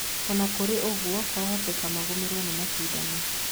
Ona kũrĩ o-ũguo, kwahotekeka magũmĩrwo nĩ macindano.